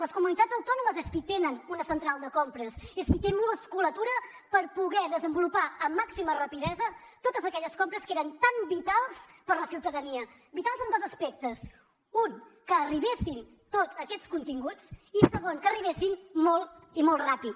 les comunitats autònomes són qui tenen una central de compres és qui té musculatura per poder desenvolupar amb màxima rapidesa totes aquelles compres que eren tan vitals per a la ciutadania vitals en dos aspectes un que arribessin tots aquests continguts i segon que arribessin molt i molt ràpid